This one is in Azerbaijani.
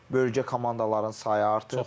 Bölgə komandaların sayı artıb.